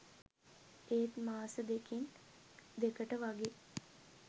ඒත් මාස දෙකින් දෙකට වගේ